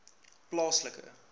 plaaslike